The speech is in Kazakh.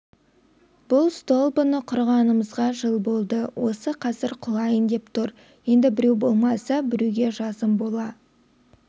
бұл столбыны құрғанымызға жыл болды осы қазір құлайын деп тұр енді біреу болмаса біреуге жазым бола